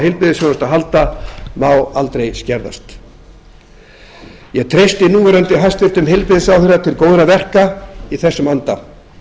heilbrigðisþjónustu að halda má aldrei skerðast ég treysti núv hæstvirtur heilbrigðisráðherra til góðra verka í þessum anda